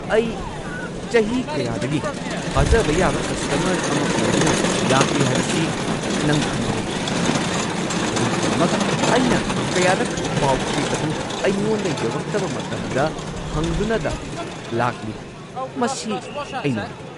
ꯑꯩ ꯆꯍꯤ ꯀꯌꯥꯗꯒꯤ ꯊꯥꯖꯕ ꯌꯥꯕ ꯀꯁꯇꯃꯔ ꯑꯃ ꯑꯣꯏꯗꯨꯅ ꯂꯥꯛꯂꯤ ꯍꯥꯏꯕꯁꯤ ꯅꯪ ꯈꯪꯕ ꯅꯠꯇ꯭ꯔꯥ, ꯑꯗꯨꯝ ꯑꯣꯏꯅꯃꯛ ꯑꯩꯅ ꯀꯌꯥꯔꯛ ꯄꯥꯎ-ꯆꯦ ꯑꯗꯨ ꯑꯩꯉꯣꯟꯗ ꯌꯧꯔꯛꯇꯕ ꯃꯇꯝꯗ ꯍꯪꯗꯨꯅꯗ ꯂꯥꯛꯂꯤ꯫ ꯃꯁꯤ ꯑꯩ ꯅꯨꯡꯉꯥꯏꯇꯦ꯫